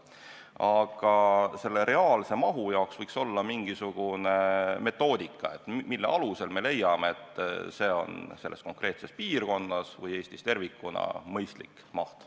Aga selle reaalse mahu jaoks võiks olla mingisugune metoodika, mille alusel me leiame, et see on selles konkreetses piirkonnas või Eestis tervikuna mõistlik maht.